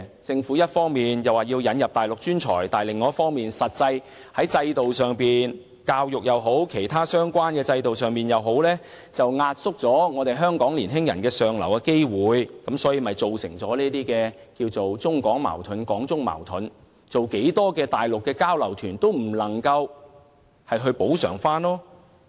政府一方面引入內地專才，同時亦由得現行的教育制度及其他相關制度壓縮本地年輕人向上流動的機會，結果造成更多的中港矛盾，這並非增加舉辦內地交流團便可補救的。